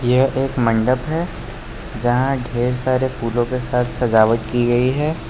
यह एक मंडप है यहां ढेर सारे फूलों के साथ सजावट की गई है।